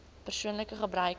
persoonlike gebruik meter